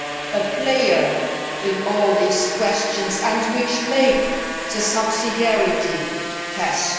a player in all these questions and which conduct the subsidiarity test.